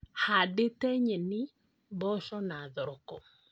Handĩte nyeni, mboco na thoroko